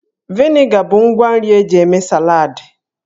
Vịnịga bụ ngwa nri eji eme saladị.